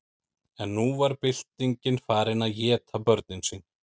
en nú var byltingin farin að éta börnin sín